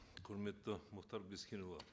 құрметті мұхтар бескенұлы